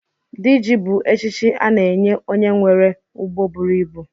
Dị ji bu echichi a na-enye onye nwere ụgbọ bụrụ ịbụ